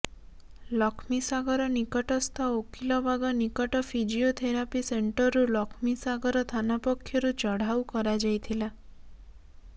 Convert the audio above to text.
ଲକ୍ଷ୍ମୀ ସାଗର ନିକଟସ୍ଥ ଓକିଲବାଗ ନିକଟ ଫିଜିଓଥେରାପି ସେଣ୍ଟରରୁ ଲକ୍ଷ୍ମୀସାଗର ଥାନା ପକ୍ଷରୁ ଚଢାଉ କରାଯାଇଥିଲା